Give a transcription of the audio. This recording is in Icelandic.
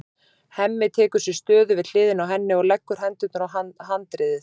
Hemmi tekur sér stöðu við hliðina á henni og leggur hendurnar á handriðið.